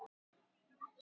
Þær gerðu það ekki.